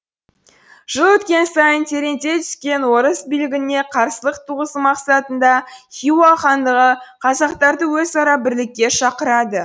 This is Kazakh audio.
жыл өткен сайын тереңдей түскен орыс билігіне қарсылық туғызу мақсатында хиуа хандығы қазақтарды өзара бірлікке шақырады